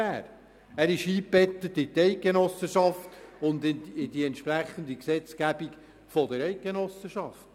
Er ist eingebettet in die Eidgenossenschaft und in die entsprechende Gesetzgebung der Eidgenossenschaft.